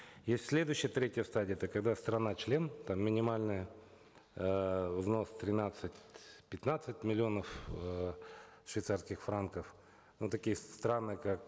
есть следущая третья стадия это когда страна член там минимальный эээ взнос тринадцать пятнадцать миллионов эээ швейцарских франков но такие страны как